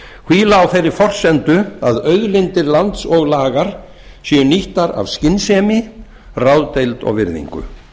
hvíla á þeirri forsendu að auðlindir lands og lagar séu nýttar af skynsemi ráðdeild og virðingu